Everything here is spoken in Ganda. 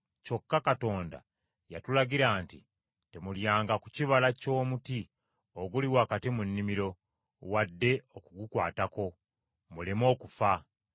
kyokka Katonda yatulagira nti, ‘Temulyanga ku kibala ky’omuti oguli wakati mu nnimiro, wadde okugukwatako, muleme okufa.’ ”